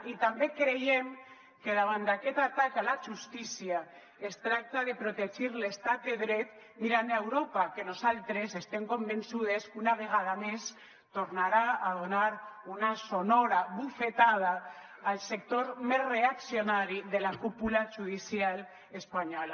i també creiem que davant d’aquest atac a la justícia es tracta de protegir l’estat de dret mirant a europa que nosaltres estem convençudes que una vegada més tornarà a donar una sonora bufetada al sector més reaccionari de la cúpula judicial espanyola